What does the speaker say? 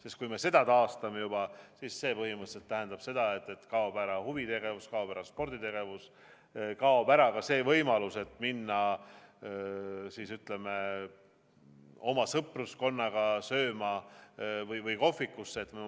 Sest kui me selle taastame, siis see tähendab põhimõtteliselt seda, et kaob ära huvitegevus, kaob ära sporditegevus, kaob ära ka võimalus oma sõpruskonnaga kohvikusse või mujale sööma minna.